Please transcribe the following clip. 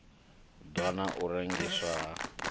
ḓwa na u rengiswa ha